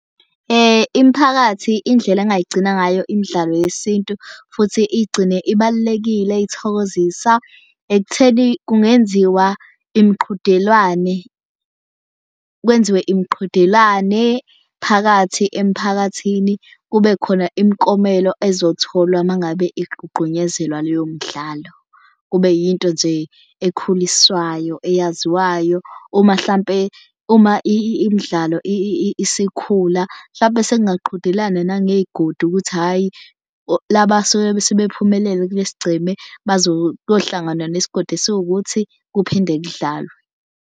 Imphakathi indlela angayigcina ngayo imidlalo yesintu futhi iyigcine ibalulekile ithokozisa ekutheni kungenziwa imiqhudelwane kwenziwe imiqhudelwane phakathi emphakathini. Kube khona imiklomelo ezotholwa uma ngabe igqugqunyezelwa leyo mdlalo. Kube yinto nje ekhuliswayo eyaziwayo. Uma hlampe uma imidlalo isikhula hlampe sekungaqhudelana nangeyigodi ukuthi hhayi laba suke sebephumelele kule sigceme kuyohlanganwa nesigodi esiwukuthi kuphinde kudlalwe.